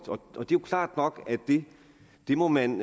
det er klart nok at det må man